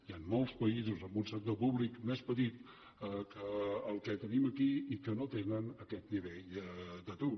hi han molts països amb un sector públic més petit que el que tenim aquí i que no tenen aquest nivell d’atur